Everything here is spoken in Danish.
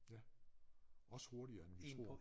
Ja også hurtigere end vi tror